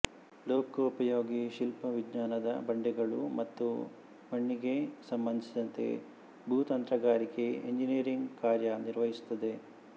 ಲೋಕೋಪಯೋಗಿ ಶಿಲ್ಪ ವಿಜ್ಞಾನದ ಬಂಡೆಗಳು ಮತ್ತು ಮಣ್ಙೆಗೆ ಸಂಬಂಧಿಸಿದಂತೆ ಭೂತಂತ್ರಗಾರಿಕೆ ಎಂಜಿನೀಯರಿಂಗ್ ಕಾರ್ಯ ನಿರ್ವಹಿಸುತ್ತದೆ